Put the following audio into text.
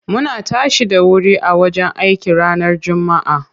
Muna tashi da wuri a wajen aiki ranar jummaa.